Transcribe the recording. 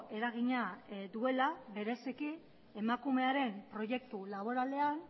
eragina duela bereziki emakumearen proiektu laboralean